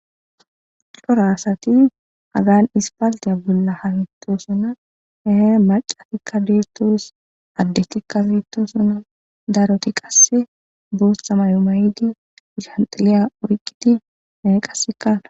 cora asati hagan aspaltiya bolla hamito sona ehe macatikka dertoos addetikka bietto sona daroti qasse boossa mayo mayidi ishanxiliya oriqiti qassekala